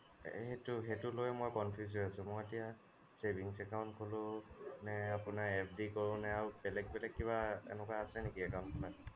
এই সেইটো সেইটো লৈ মই confused হৈ আছোঁ মই এতিয়া savings account খুলো ne আপোনাৰ FD কৰোঁ নে বেলেগ বেলেগ কিবা এনেকুৱা আছে নেকি account খোলাত